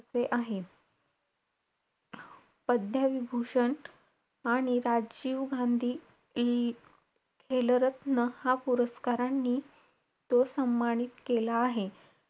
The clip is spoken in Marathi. असे आहे. पद्मविभूषण आणि राजीव गांधी इ~ खेलरत्न हा पुरस्कारांनी तो सम्मानित केला आहे.